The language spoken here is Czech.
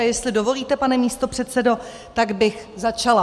A jestli dovolíte, pane místopředsedo, tak bych začala.